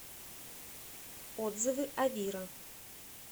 отзывы авира